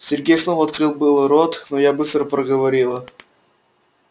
сергей снова открыл было рот но я быстро проговорила